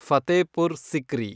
Fatehpur Sikri